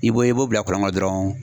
I b'o i b'o bila kɔlɔn kɔ dɔrɔn